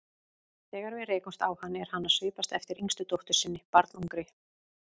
Þegar við rekumst á hann er hann að svipast eftir yngstu dóttur sinni, barnungri.